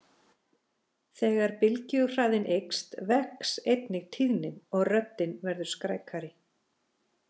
Þegar bylgjuhraðinn eykst vex einnig tíðnin og röddin verður skrækari.